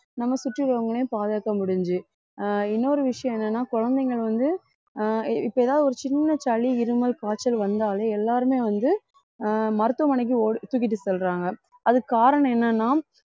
நம்ம சுற்றி உள்ளவங்களையும் பாதுகாக்க முடிஞ்சு ஆஹ் இன்னொரு விஷயம் என்னன்னா குழந்தைகள் வந்து ஆஹ் இப்ப ஏதாவது ஒரு சின்ன சளி இருமல் காய்ச்சல் வந்தாலே எல்லாருமே வந்து ஆஹ் மருத்துவமனைக்கு ஒடி~ தூக்கிட்டு செல்றாங்க அதுக்கு காரணம் என்னன்னா